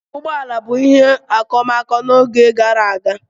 Ụgbọ ala bụ ihe okomoko n'oge gara aga.